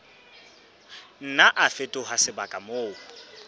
nna a fetoha sebaka moo